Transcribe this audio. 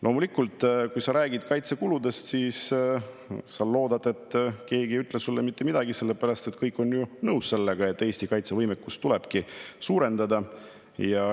Loomulikult, kui sa räägid kaitsekuludest, siis sa loodad, et keegi ei ütle sulle mitte midagi, sellepärast et kõik on ju nõus sellega, et Eesti kaitsevõimekust tulebki suurendada.